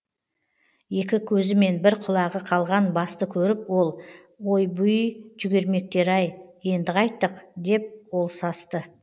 екі көзімен бір құлағы қалған басты көріп ол ойбуййй жүгермектер ай енді қайттік деп ол састы